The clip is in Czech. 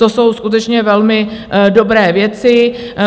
To jsou skutečně velmi dobré věci.